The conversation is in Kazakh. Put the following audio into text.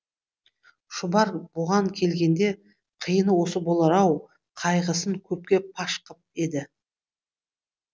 шұбар бұған келгенде қиыны осы болар ау қайғысын көпке паш қып еді